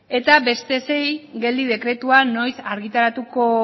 eta beste sei geldi dekretua noiz argitaratuko